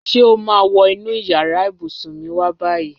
Ṣé o ma wo inú yàrá ìbùsùn mi wá báyìí?